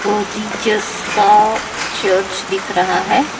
वो का चर्च दिख रहा है।